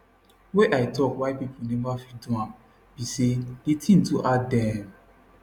wey i tok why pipo neva fit do am be say di tin too hard dem